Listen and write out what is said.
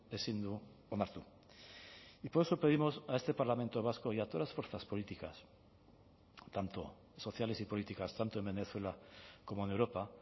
ezin du onartu y por eso pedimos a este parlamento vasco y a todas las fuerzas políticas tanto sociales y políticas tanto en venezuela como en europa